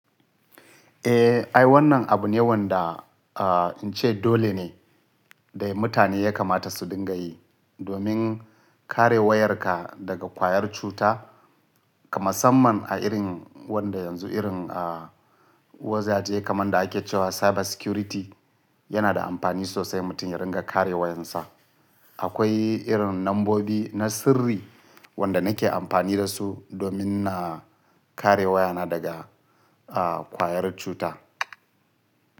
Eh, ai wannan abu ne wanda a ince dole ne da mutane ya kamata su dinga yi domin kare wayarka daga kwayar cuta. Masaman a irin wanda yanzu irin a wazaje kamar da ake cewa cyber security yana da amfani sosai mutum ya ringa kare wayarsa. Akwai irin nambobi na sirri wanda nake amfani da su domin na kare wayana daga a kwayar cuta.